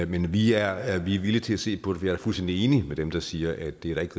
men vi er er villige til at se på det jeg er fuldstændig enig med dem der siger at det da ikke